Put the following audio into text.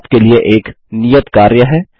यहाँ आपके लिए एक नियत कार्य है